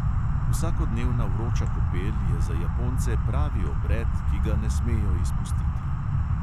Vsakodnevna vroča kopel je za japonce pravi obred, ki ga ne smejo izpustiti.